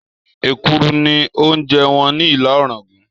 Èkuru ni oúnjẹ wọn ni Ìlá-òràngún